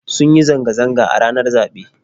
Sun yi zanga zanga ranar zaɓe